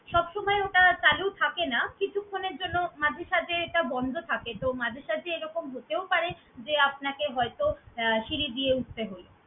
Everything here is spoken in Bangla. সবসময় ওটা চালু থাকে না, কিছুক্ষনের জন্য মাঝে সাঝে এটা বন্ধ থাকে। তো মাঝে সাঝে এরকম হতেও পারে যে আপনাকে হয়তো আহ সিঁড়ি দিয়ে উঠতে হল।